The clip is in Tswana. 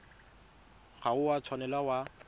ga o a tshwanela wa